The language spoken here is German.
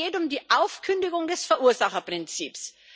Es geht um die Aufkündigung des Verursacherprinzips.